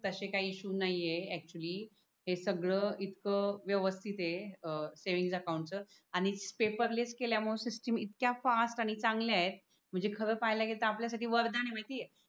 तसे काही इश्यू नाही ऐक्चुली हे सगड इथक वेवस्थित आहे सेव्हिंग अकाउंट च आणि पेपरलेस केल्या मूळे सिस्टम इतक्या फास्ट आणि चांगल्या आहे म्हणजे खर पहाल की आपल्या साठी वरदान आहे माहिती आहे.